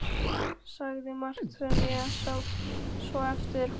Sagði margt sem ég sá svo eftir.